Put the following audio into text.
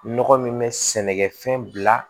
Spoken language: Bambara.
Nɔgɔ min bɛ sɛnɛkɛfɛn bila